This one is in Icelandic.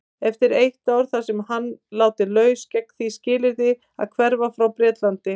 Eftir eitt ár þar var hann látinn laus gegn því skilyrði að hverfa frá Bretlandi.